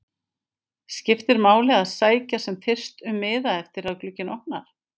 Skiptir máli að sækja sem fyrst um miða eftir að glugginn opnar?